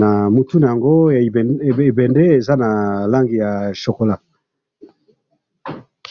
na mutu nango ya ebembe eza na langi chocolat